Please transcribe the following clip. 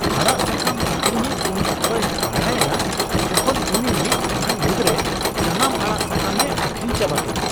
ᱟᱲᱟᱜ ᱥᱟᱠᱟᱢ ᱟᱹᱠᱷᱨᱤᱧᱤᱡ ᱩᱱ ᱚᱠᱛᱚᱭ ᱦᱟᱦᱟᱲᱟᱭᱮᱱᱟ ᱡᱚᱠᱷᱚᱱ ᱩᱱᱤ ᱢᱤᱫ ᱴᱟᱲᱟᱝ ᱢᱩᱫᱨᱮ ᱥᱟᱱᱟᱢ ᱟᱲᱟᱜ ᱥᱟᱠᱟᱢᱮ ᱟᱹᱦᱨᱤᱧ ᱪᱟᱵᱟ ᱠᱮᱫᱟ ᱾